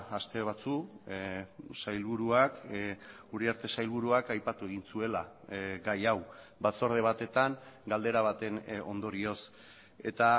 aste batzuk sailburuak uriarte sailburuak aipatu egin zuela gai hau batzorde batetan galdera baten ondorioz eta